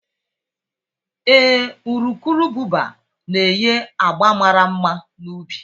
Ee, urukurubụba na-enye agba mara mma na ubi